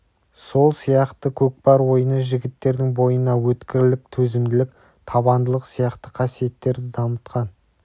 сол сияқты көкпар ойыны жігіттердің бойына өткірлік төзімділік табандылық сияқты қасиеттерді дамытқан